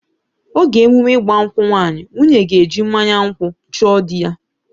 Oge emume ịgba nkwụ nwaanyị, nwunye ga-eji mmanya nkwụ chọọ dị ya